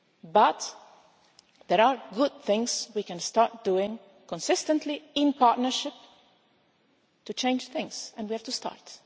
people. But there are good things we can start doing consistently in partnership to change things, and we have to